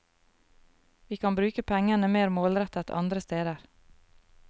Vi kan bruke pengene mer målrettet andre steder.